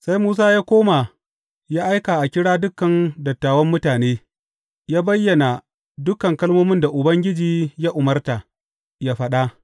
Sai Musa ya koma ya aika a kira dukan dattawan mutane, ya bayyana dukan kalmomin da Ubangiji ya umarta, ya faɗa.